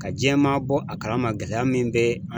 Ka jiyɛn maa bɔ a kalama gɛlɛya min bɛ